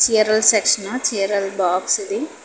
చీరల సెక్షన్ చీరలు బాక్స్ ఉంది.